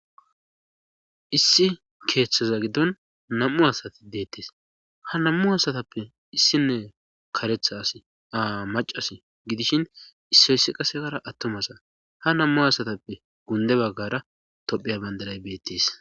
issi keeththaza giddon nam7u asati deettes ha nammu asatappe issinne karetha asi aa macasi gidishin issoyssi qasekara attumasa ha nammu asatappe gunde baggara topheya bandaray beettes